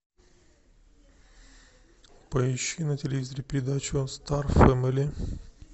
поищи на телевизоре передачу о стар фэмили